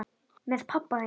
Með pabba þínum?